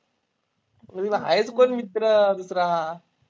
आहेच कोण मित्र दूसरा.